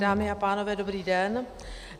Dámy a pánové, dobrý den.